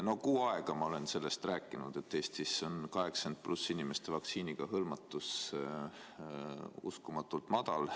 Oma kuu aega ma olen sellest rääkinud, et Eestis on vanuses 80+ inimeste vaktsiiniga hõlmatus uskumatult väike.